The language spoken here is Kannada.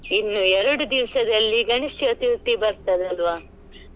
ಇನ್ನು ಎರಡುದಿವ್ಸದಲ್ಲಿ ಗಣೇಶ ಚತುರ್ಥಿ ಬರ್ತದಲ್ವ.